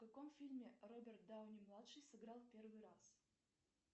в каком фильме роберт дауни младший сыграл первый раз